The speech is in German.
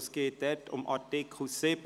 Es geht dabei um Artikel 7.